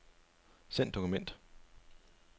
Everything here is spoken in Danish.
Send dokument.